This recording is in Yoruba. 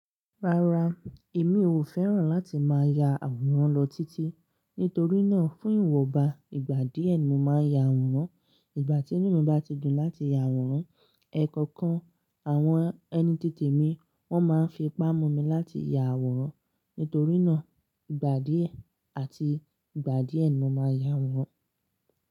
Rárá, èmi ò fẹ́ràn láti máa ya àwòrán lọ títí. Nítorí náà, fún ìwò ba, ìgbà díẹ̀ ni mo máa ya àwòrán. Ìgbà tí inú mi bá ti dùn láti ya àwòrán, ẹ̀ẹ̀kọ̀kan àwọn ẹni títì mi wón máa ń fi ipa mumi láti ya àwòrán. Nítorí náà, ìgbà díẹ̀ àti ìgbà díẹ̀ ni mo máa ya àwòrán.